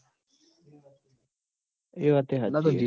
એ વાતય હાચી